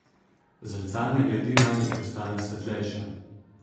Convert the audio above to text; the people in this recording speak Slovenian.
Zrcalna gladina je postala svetlejša.